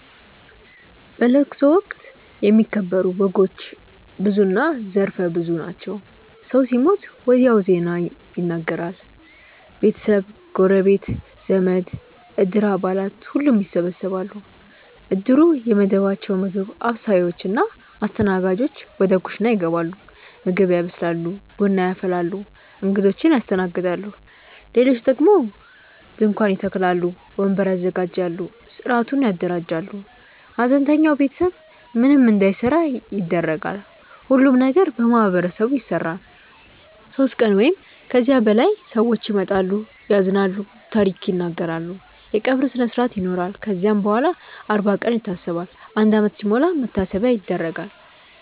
በለቅሶ ወቅት የሚከበሩ ወጎች ብዙና ዘርፈ ብዙ ናቸው። ሰው ሲሞት ወዲያው ዜናው ይነገራል። ቤተሰብ፣ ጎረቤት፣ ዘመድ፣ እድር አባላት ሁሉም ይሰበሰባሉ። እድሩ የመደባቸው ምግብ አብሳዮች እና አስተናጋጆች ወደ ኩሽና ይገባሉ ምግብ ያበስላሉ፣ ቡና ያፈላሉ፣ እንግዶችን ያስተናግዳሉ። ሌሎች ደግሞ ድንኳን ይተክላሉ፣ ወንበር ያዘጋጃሉ፣ ሥርዓቱን ያደራጃሉ። ሐዘንተኛው ቤተሰብ ምንም እንዳይሠራ ይደረጋል። ሁሉም ነገር በማህበረሰቡ ይሰራል። ሦስት ቀን ወይም ከዚያ በላይ ሰዎች ይመጣሉ፣ ያዝናሉ፣ ታሪክ ይናገራሉ። የቀብር ስነስርአት ይኖራል ከዚያም በኋላም አርባ ቀን ይታሰባል፣ አንድ ዓመት ሲሞላም መታሰቢያ ይደረጋል።